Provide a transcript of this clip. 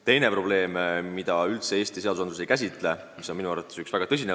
Teine probleem on alaealiste omavaheline seksuaalne läbikäimine, mida Eesti seadused üldse ei käsitle.